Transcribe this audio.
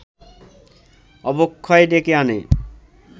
অবক্ষয় ডেকে আনে